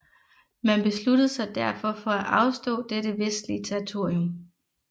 Man besluttede sig derfor for at afstå dette vestlige territorium